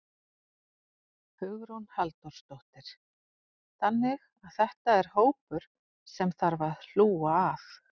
Hugrún Halldórsdóttir: Þannig að þetta er hópur sem að þarf að hlúa að?